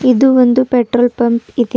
ಇದು ಒಂದು petrol pump ಇದೆ.